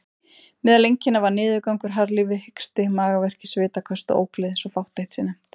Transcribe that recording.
Meðal einkenna var niðurgangur, harðlífi, hiksti, magaverkir, svitaköst og ógleði, svo fátt eitt sé nefnt.